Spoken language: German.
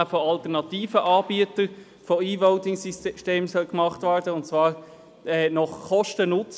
Die Resultate müssen dem Grossen Rat vor dem Verpflichtungskredit für das Jahr 2020 und weitere vorgelegt werden.